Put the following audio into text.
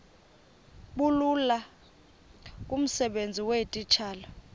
bulula kumsebenzi weetitshala